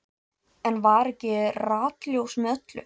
Enn var ekki ratljóst með öllu.